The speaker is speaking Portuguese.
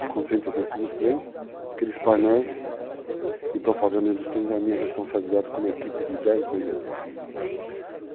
Tu concentra dentro dos trens, aqueles painéis de propaganda dentro dos trens é a minha responsabilidade como equipe de 10 vendedores.